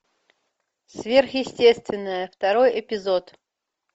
сверхъестественное второй эпизод